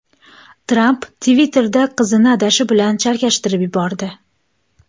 Tramp Twitter’da qizini adashi bilan chalkashtirib yubordi.